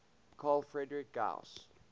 carl friedrich gauss